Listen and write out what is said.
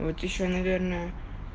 вот ещё наверное